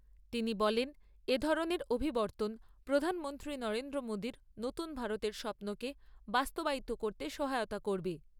তিনি বলেন এ ধরনের অভিবর্তন প্রধানমন্ত্রী নরেন্দ্র মোদীর নতুন ভারতের স্বপনকে বাস্তবায়িত করতে সহায়তা করবে।